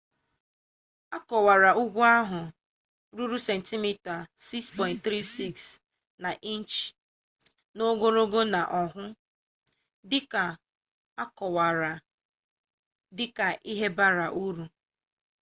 ekowara ugwu ahụ ruru sentimita 6.34 na inchi n'ogologo na oahu dịka akọwara dịka 'ihe bara uru'